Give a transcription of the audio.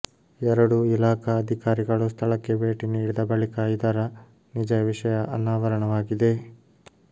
ಎರಡೂ ಇಲಾಖಾ ಅಧಿಕಾರಿಗಳು ಸ್ಥಳಕ್ಕೆ ಭೇಟಿ ನೀಡಿದ ಬಳಿಕ ಇದರ ನಿಜ ವಿಷಯ ಅನಾವರಣವಾಗಿದೆ